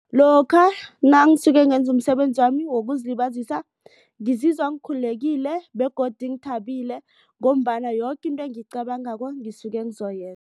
Lokha nangisuke ngenze umsebenzi wami wokuzilibazisa ngizizwa ngikhululekile begodu ngithabile. Ngombana yoke into engiyicabangako ngisuke ngizoyenza.